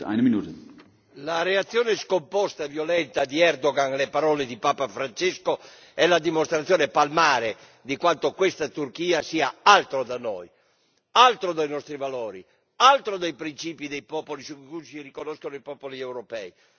Signor Presidente, onorevoli colleghi, la reazione scomposta e violenta di Erdogan alle parole di Papa Francesco è la dimostrazione palmare di quanto questa Turchia sia altro da noi, altro dai nostri valori, altro dai principi dei popoli su cui si riconoscono i popoli europei.